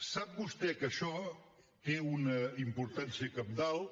sap vostè que això té una importància cabdal